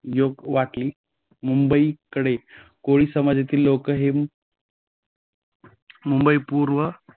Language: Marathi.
योग्य वाटली. मुंबईकडे कोळी समाजातील लोक हे मुंबई पूर्व